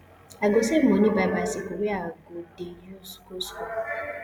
i go save moni buy bicycle wey i go dey use go skool